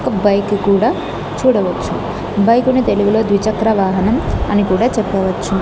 ఒక బైక్ కూడా చూడవచ్చు బైక్ కును తెలుగులో ద్విచక్ర వాహనం అని కూడా చెప్పవచ్చు.